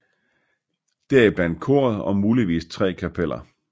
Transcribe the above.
Deriblandt koret og muligvis tre kapeller